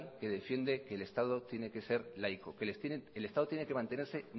que defiende que el estado tiene que ser laico que el estado tiene que mantenerse